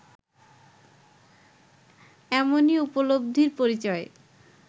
এমনই উপলব্ধির পরিচয়